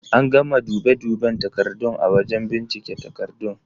An gama dube duben takardun a wajen bincike takardun.